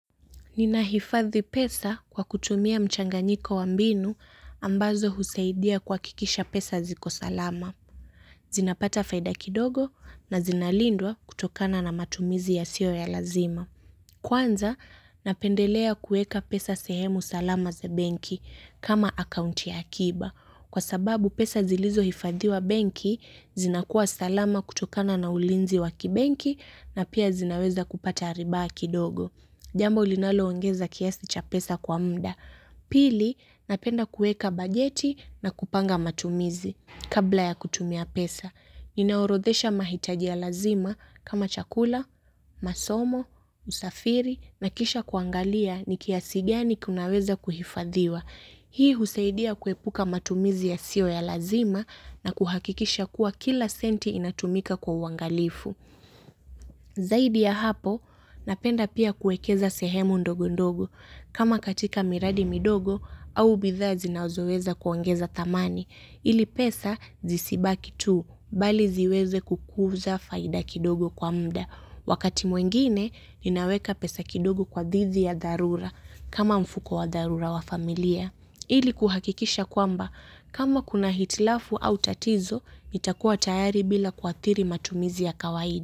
Ninahifadhi pesa kwa kutumia mchanganyiko wa mbinu ambazo husaidia kuhakikisha pesa ziko salama. Zinapata faida kidogo na zinalindwa kutokana na matumizi yasiyo ya lazima. Kwanza napendelea kuweka pesa sehemu salama za benki kama akaunti ya akiba. Kwa sababu pesa zilizohifadhiwa benki zinakuwa salama kutokana na ulinzi wa kibenki na pia zinaweza kupata riba kidogo. Jambo linaloongeza kiasi cha pesa kwa muda. Pili, napenda kuweka bajeti na kupanga matumizi kabla ya kutumia pesa. Ninaorodhesha mahitaji ya lazima kama chakula, masomo, usafiri na kisha kuangalia ni kiasi gani kinaweza kuhifadhiwa. Hii husaidia kuepuka matumizi yasiyo ya lazima na kuhakikisha kuwa kila senti inatumika kwa uangalifu. Zaidi ya hapo, napenda pia kuwekeza sehemu ndogo ndogo. Kama katika miradi midogo, au bidhaa zinazoweza kuongeza dhamani. Ili pesa zisibaki tu, bali ziweze kukuza faida kidogo kwa muda. Wakati mwingine, ninaweka pesa kidogo kwa dhidi ya dharura, kama mfuko wa dharura wa familia. Ili kuhakikisha kwamba, kama kuna hitilafu au tatizo, nitakua tayari bila kuathiri matumizi ya kawaida.